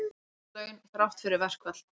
Óskert laun þrátt fyrir verkfall